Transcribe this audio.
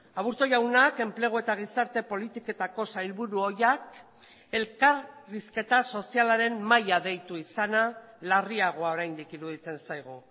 aburto jaunak enplegu eta gizarte politiketako sailburu ohiak elkarrizketa sozialaren mahaia deitu izana larriagoa oraindik iruditzen zaigu